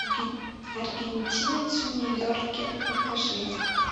аргентинец в нью йорке покажи